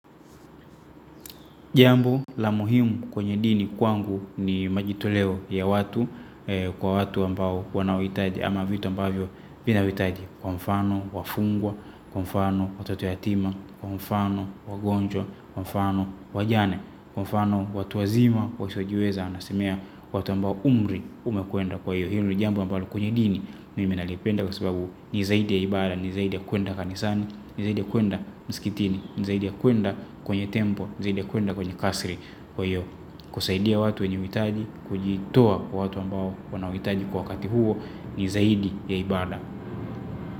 Jambo la muhimu kwenye dini kwangu ni majitoleo ya watu kwa watu ambao wanaohitaji ama vitu ambavyo vinahitaji kwa mfano, wafungwa, kwa mfano, watato yatima, kwa mfano, wagonjwa, kwa mfano, wajane, kwa mfano, watu wazima, wasiojiweza, nasemea watu ambao umri umekuenda kwa hiyo. Hio ni jambo ambalo kwenye dini, mimi nalipenda kwa sababu ni zaidi ya ibada, ni zaidi ya kuenda kanisani, ni zaidi ya kuenda msikitini, ni zaidi ya kuenda kwenye tempo, ni zaidi ya kuenda kwenye kasri kwa hiyo, kusaidia watu wenye mitaji, kujitoa kwa watu ambao wanawahitaji kwa wakati huo, ni zaidi ya ibada.